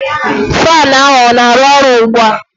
Faan ahu ọ na-aru ọru ugbua?